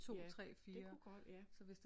Ja det kunne godt ja